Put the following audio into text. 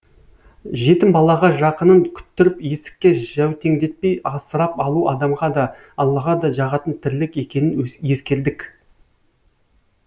жетім балаға жақынын күттіріп есікке жәутеңдетпей асырап алу адамға да аллаға да жағатын тірлік екенін ескердік